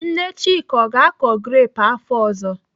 Nne Chika, ọ ga-akọ grepụ afọ ọzọ?